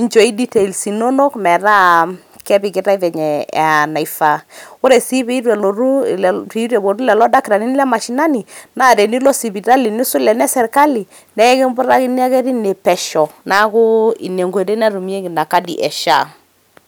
inchooi details inonok metaa kepikitae venye naifaa. ore si peitu elotu pitu eponu lelo dakitarini le mashinani naa tenilo sipitali nisul ena e sirkali nee ekimputakini ake tine pesho naaku ine enkoitoi natumieki ina kadi e SHA .